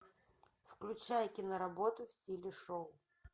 включай киноработу в стиле шоу